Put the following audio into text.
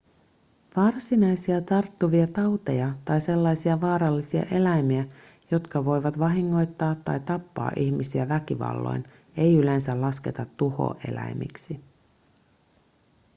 varsinaisia tarttuvia tauteja tai sellaisia vaarallisia eläimiä jotka voivat vahingoittaa tai tappaa ihmisiä väkivalloin ei yleensä lasketa tuhoeläimiksi